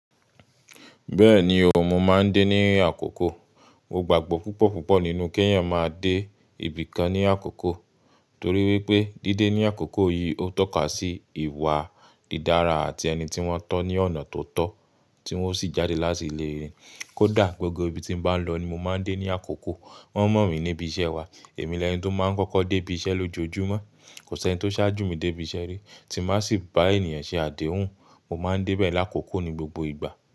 Bẹ́ẹ̀ni o, mo máa ń dé ní àkókò. Mo gbàgbọ́ púpọ̀ púpọ̀ nínú kí ẹ̀yan máa dé ibì kan ní àkókò torí wípé dídé ní àkókò yìí ó tọ́ka sí ìwà dídára àti ẹni tí wọ́n tó ní ọ̀nà tó tọ́ tí wọ́n sì jáde láti lè re. Kódà gbogbo ibi tí m bá ń lọ ni mo máa ń dé ní àkókò. Wọ́n mọ̀ mí ní ibi iṣẹ́ wa. Èmi lẹ́ni tó máa ń kọ́kọ́ dé ibi iṣẹ́ lójoojúmọ́. Kò sí ẹni tó sáájú mi dé ibi iṣẹ́ rí tí m bá sì bá ènìyàn ṣe àdéhùn. Mo máa ń dé bẹ́ẹ̀ lákókò ní gbogbo ìgbà.